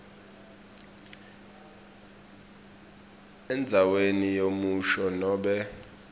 endzaweni yemusho nobe